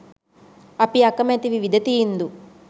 අපි අකමැති විවිධ තීන්දු